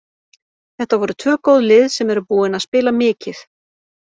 Þetta voru tvö góð lið sem eru búin að spila mikið.